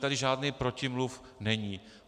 Tady žádný protimluv není.